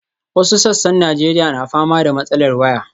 Wasu sassan Najeriya na fama da matsalar waya.